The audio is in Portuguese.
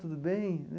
Tudo bem?